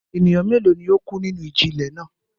Ènìyàn mélòó ni ó kú nínú ìjì-ilẹ̀ náà?